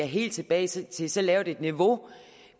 helt tilbage til så lavt et niveau